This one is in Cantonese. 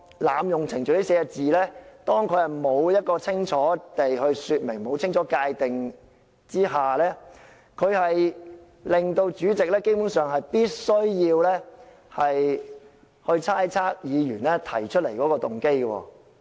"濫用程序"這4個字未經清楚說明和界定下，主席基本上必須猜測議員提出來的動機。